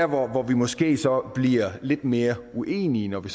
hvor vi måske så bliver lidt mere uenige når vi